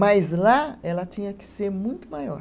Mas lá ela tinha que ser muito maior.